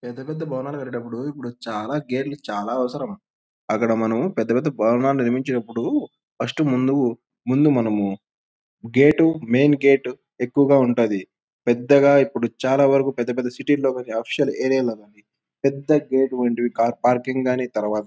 పెద్ద పెద్ద భవనాలు కాటేటప్పుడు ఇప్పుడు చాల గేట్ లు చాల అవసరం అక్కడ మనం పెద్ద పెద్ద భవనాలు నిర్మిచేటప్పుడు ఫస్ట్ ముందు ముందు మనము గేట్ మెయిన్ గేట్ ఎక్కవగా ఉంటది పెద్దగా ఇప్పుడు చాల వరకు పెద్ద పెద్ద సిటీస్ లో కొన్ని ఆఫిషల్ ఏరియాస్ లో కానీ పెద్ద గేట్ వంటి కార్ పార్కింగ్ కానీ తరవాత --